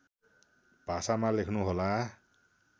भाषामा लेख्नुहोला